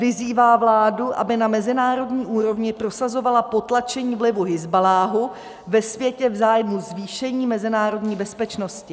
Vyzývá vládu, aby na mezinárodní úrovni prosazovala potlačení vlivu Hizballáhu ve světě v zájmu zvýšení mezinárodní bezpečnosti.